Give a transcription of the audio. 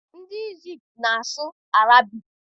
Ndị Ijipt na-asụ Arabic.